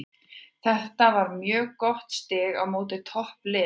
Þetta var mjög gott stig á móti toppliðinu.